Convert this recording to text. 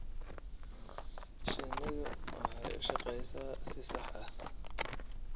Shinnidu waxay u shaqeysaa si sax ah.